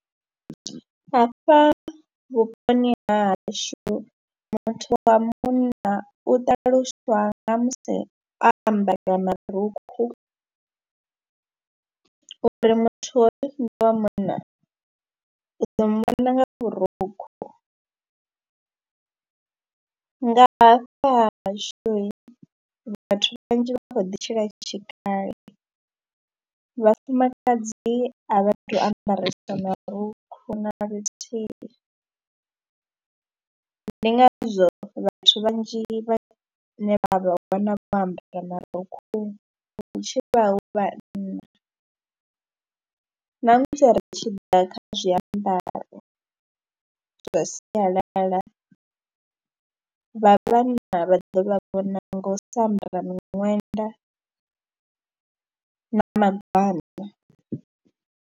Hafha vhuponi ha hashu muthu wa munna u ṱaluswa nga musi a ambara marukhu uri muthu hoyo ndi wa munna, u ḓo munna nga vhurukhu. Nga hafha hashu vhathu vhanzhi vha khou ḓi tshila tshikale, vhafumakadzi a vha tou ambaresa marukhu na luthihi. Ndi ngazwo vhathu vhanzhi vhane vha vha wana vho ambara marukhu vha tshi vha hu vhanna na musi ri tshi ḓa kha zwiambaro zwa sialala vha vhanna vha ḓo vha vhona ngo u sa ambara miṅwenda na magwana.